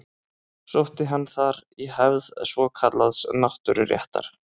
Sótti hann þar í hefð svokallaðs náttúruréttar.